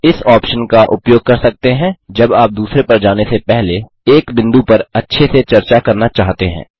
आप इस ऑप्शन का उपयोग कर सकते हैं जब आप दूसरे पर जाने से पहले एक बिंदु पर अच्छे से चर्चा करना चाहते हैं